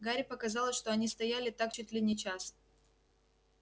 гарри показалось что они стояли так чуть ли не час